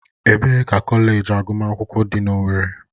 Ebee ka kọleji agụmakwụkwọ dị na owerri?